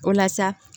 O la sa